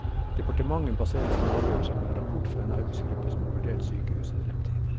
Departementet baserer sin avgjørelse på en rapport fra en arbeidsgruppe som har vurdert sykehusets fremtid.